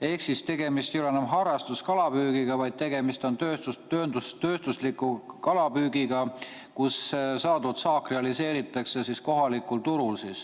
Ehk tegemist ei ole enam harrastuskalapüügiga, vaid tegemist on tööstusliku kalapüügiga, kus saadud saak realiseeritakse kohalikul turul.